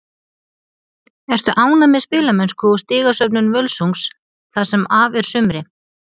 Ertu ánægð með spilamennsku og stigasöfnun Völsungs það sem af er sumri?